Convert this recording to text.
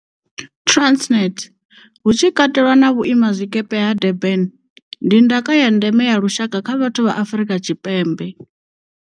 Transnet, hu tshi katelwa na vhuimazwikepe ha Durban, ndi ndaka ya ndeme ya lushaka kha vhathu vha Afrika Tshipembe.